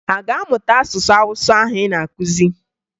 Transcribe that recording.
Ha a ga-amụta asụsụ Awụsa ahụ ị na-akụzi?